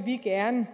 vi gerne